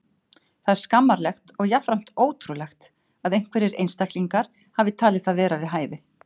Það er skammarlegt og jafnframt ótrúlegt að einhverjir einstaklingar hafi talið það vera við hæfi.